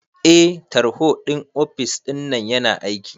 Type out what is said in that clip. Eh tarho ɗin ofis ɗinnan yana aiki